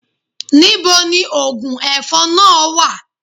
Níbo ni oògùn ẹ̀fọn náà wà?